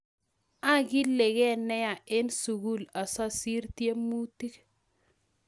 Agilige neya eng sugul asosiir tyemutik